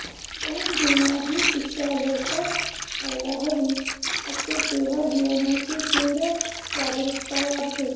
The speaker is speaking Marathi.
पण जेव्हा ही शिक्षा लवकर व्हायला हवी असते तेव्हा जीवनाची तीव्र जागरूकता वाढते